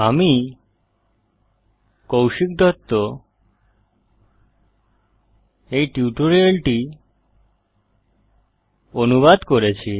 আমি কৌশিক দত্ত এই টিউটোরিয়ালটি অনুবাদ করেছি